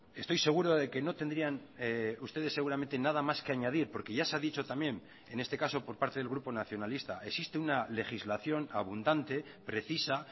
estoy seguro de que no tendrían ustedes seguramente nada más que añadir porque ya se ha dicho también en este caso por parte del grupo nacionalista existe una legislación abundante precisa